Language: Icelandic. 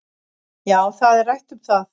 Já, það er rætt um það